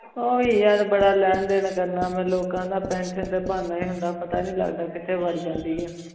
ਊ ਵੀ ਯਾਰ ਬਾਰਾ ਲੈਣ ਦੇਣ ਕਰਨਾ ਮੈਂ ਲੋਕਾਂ ਦਾ ਪੇੰਸਿਓਂ ਤੇ ਬਾਹਾਂ ਈ ਹੁੰਦਾ ਪਤਾ ਨਾਈ ਲਗਦਾ ਕਿਤਹੀ ਵਾਰ ਜਾਂਦੀ ਆ